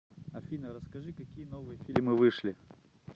афина расскажи какие новые фильмы вышли